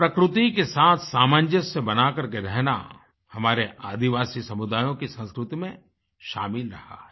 प्रकृति के साथ सामंजस्य बनाकर के रहना हमारे आदिवासी समुदायों की संस्कृति में शामिल रहा है